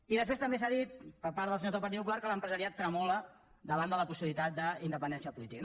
i després també s’ha dit per part dels senyors del partit popular que l’empresariat tremola davant la possibilitat d’independència política